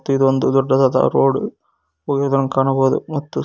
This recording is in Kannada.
ಇದು ಒಂದು ದೊಡ್ಡದಾದ ರೋಡ್ ಹೋದಾಂಗ ಕಾಣಬೋದು ಮತ್ತು--